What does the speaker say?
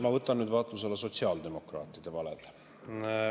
Ma võtan nüüd vaatluse alla sotsiaaldemokraatide valed.